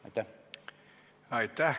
Aitäh!